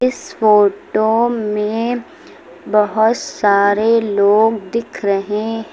इस फोटो में बहुत सारे लोग दिख रहे हैं।